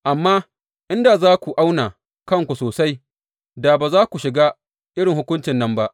Amma in da za mu auna kanmu sosai, da ba za mu shiga irin hukuncin nan ba.